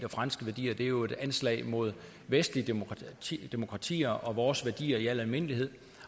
og franske værdier det er jo et anslag mod vestlige demokratier demokratier og vores værdier i al almindelighed